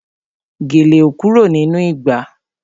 Gèlè ò kúrò nínú ìgbà